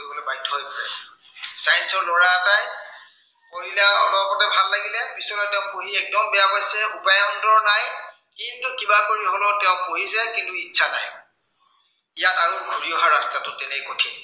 পঢ়িলে অলপতে ভাল লাগিলে। পিছলে তেওঁ পঢ়ি একদম বেয়া পাইছে। উপায়ন্তৰ নাই। কিন্তু কিবা কৰি হলেও তেওঁ কৰিছে, কিন্তু ইচ্ছা নাই। ইয়াত আৰু ঘূৰি অহাৰ ৰাস্তাটো তেনেই কঠিন।